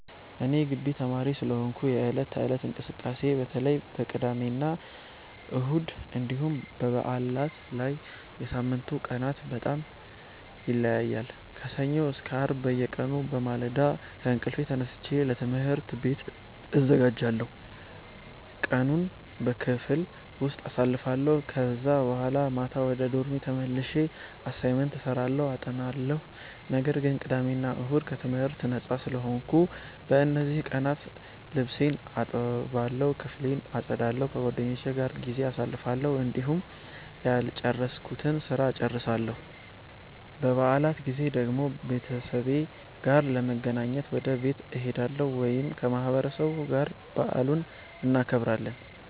እኔ የጊቢ ተማሪ ስለሆንኩ የዕለት ተዕለት እንቅስቃሴዬ በተለይ በቅዳሜና እሁድ እንዲሁም በበዓላት ላይ ከሳምንቱ ቀናት በጣም ይለያያል። ከሰኞ እስከ አርብ በየቀኑ በማለዳ ከእንቅልፌ ተነስቼ ለትምህርት ቤት እዘጋጃለሁ፣ ቀኑን በክፍል ውስጥ አሳልፋለሁ ከዛ በኋላ ማታ ወደ ዶርሜ ተመልሼ አሳይመንት እሰራለሁ አጠናለሁ። ነገር ግን ቅዳሜ እና እሁድ ከትምህርት ነጻ ስለሆንኩ፣ በእነዚህ ቀናት ልብሴን እጠባለሁ፣ ክፍሌን አጸዳለሁ፣ ከጓደኞቼ ጋር ጊዜ አሳልፋለሁ፣ እንዲሁም ያልጨረስኩትን ስራ እጨርሳለሁ። በበዓላት ጊዜ ደግሞ ከቤተሰቤ ጋር ለመገናኘት ወደ ቤት እሄዳለሁ ወይም ከማህበረሰቡ ጋር በዓሉን እናከብራለን።